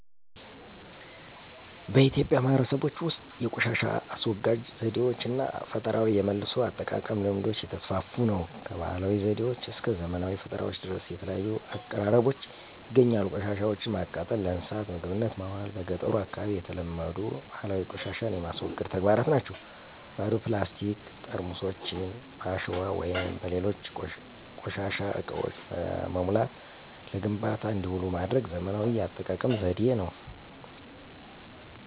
በኢትዮጵያ ማህበረሰቦች ውስጥ የቆሻሻ አስወጋጅ ዘዴዎች እና ፈጠራዊ የመልሶ አጠቃቀም ልምዶች እየተስፋፉ ነው። ከባህላዊ ዘዴዎች እስከ ዘመናዊ ፈጠራዎች ድረስ የተለያዩ አቀራረቦች ይገኛሉ። ቆሻሻወችን ማቃጠል፣ ለእንስሳት ምግብነት ማዋል በ ገጠሩ አካባቢ የተለመዱ ባህላዊ ቆሻሻን የማስወገድ ተግባራት ናቸው። ባዶ ፕላስቲክ ጠርሙሶችን በአሸዋ ወይም በሌሎች ቆሻሻ እቃዎች በመሙላት ለግንባታ እንዲውሉ ማድረግ ዘመናዊ የአጠቃቀም ዘዴ ነው።